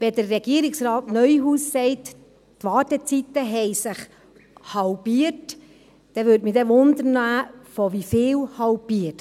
Wenn Regierungsrat Neuhaus sagt, die Wartezeiten hätten sich halbiert, dann würde mich wundernehmen: von halbiert?